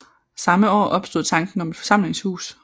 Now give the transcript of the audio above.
Samme år opstod tanken om et forsamlingshus